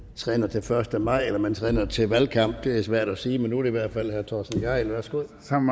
træner til første maj eller om man træner til valgkamp det er svært at sige men nu det hvert fald herre torsten gejl værsgo